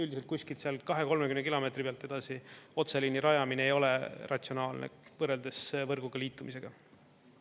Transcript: Üldiselt kuskilt sealt 20–30 kilomeetri pealt edasi otseliini rajamine ei ole ratsionaalne, võrreldes võrguga liitumisega.